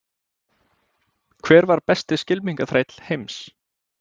Hver var besti skylmingaþræll heims?